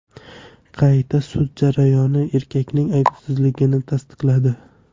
Qayta sud jarayoni erkakning aybsizligini tasdiqladi.